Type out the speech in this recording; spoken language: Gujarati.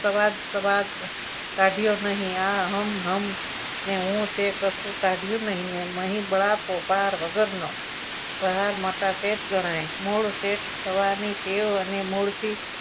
સવાર સવાર કાઢ્યો નહીં આ હમ હમ ને હું તે કશું કાઢ્યું નહીં અને એમાંય બળ આપો પાર વગરનો બહાર મોટા શેઠ ગણાય મૂળ સેઠ થવાની ટેવ અને મૂળથી